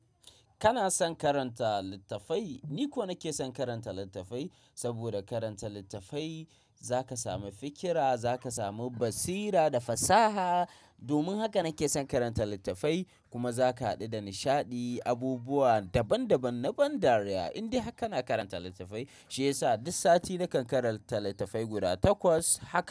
Kana son karanta littafai? Ni kuwa nake son karanta littafai saboda karanta littafai za ka sami fikira, za ka samu basira da fasaha. Domin haka nake son karanta littafai kuma za ka haɗu da nishaɗi, abubuwa daban-daban na ban dariya in dai har kana karanta littafai. Shi yasa duk sati nakan karanta littafai guda takwas. Haka.